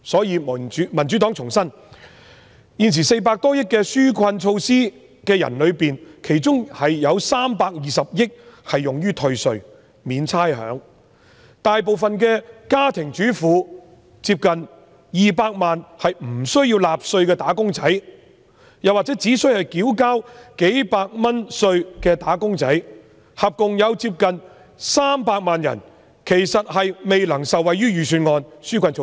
因此，民主黨重申，在現時400多億元的紓困措施中，其中320億元用於退稅及免差餉，而大部分家庭主婦及接近200萬無須納稅或只須繳交數百元稅款的"打工仔"，即共接近300萬人，其實未能受惠於預算案的紓困措施。